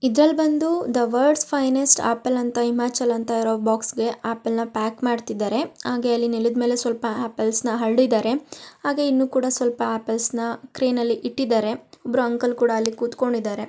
ಇದ್ರೆ ಬಂದು the words finance apple ಲ್ ಹಿಮಾಚಲ್ ಅಂತ ಬರೆದಿದ್ದಾರೆ ಬಾಕ್ಸ್ಗೆ ಆಪಲ್ನ ಪ್ಯಾಕ್ ಮಾಡ್ತಿದ್ದಾರೆ ಹಾಗೆ ನೆಲದ್ಮೇಲೆ ಆಪಲ್ಗಳನ್ನು ಹರಡಿದ್ದಾರೆ ಹಾಗೆ ಕೂಡ ಟ್ರೈನಲ್ಲಿ ಇಟ್ಟಿದಾರೆ ಮತ್ತೆ ಇಬ್ಬರು ಅಂಕಲ್ ಕೂಡ ಕೂತಿದಾರೆ.